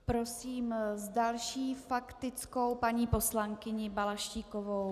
Prosím s další faktickou paní poslankyni Balaštíkovou.